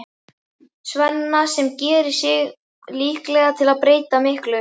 Svenna sem gerir sig líklega til að breyta miklu.